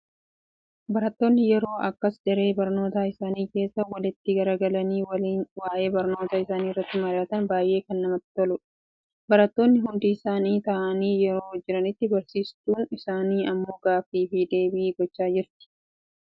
Barattoonni yeroo akkas daree barnootaa isaanii keessa, walitti gaggaragalanii waliin waa'ee barnoota isaanii irratti mari'atan baayyee namatti tolu. Barattoonni hundi isaanii taa'anii yeroo jiranitti, barsiistuun isaanii immoo gaaffii fi deebii gochaa jirti. Isin barattoota meeqatu isinitti mul'achaa jira?